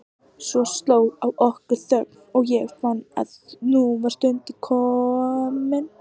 Svo sló á okkur þögn og ég fann að nú var stundin komin.